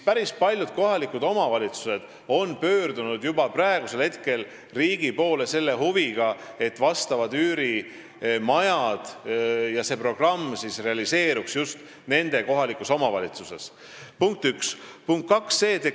Päris paljud kohalikud omavalitsused on pöördunud juba praegu riigi poole selle huviga, et üürimajade programm realiseeruks just nende kodukohas.